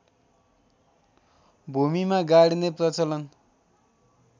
भूमिमा गाड्ने प्रलचन